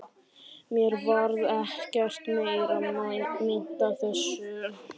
Mér varð ekkert meira meint af þessu.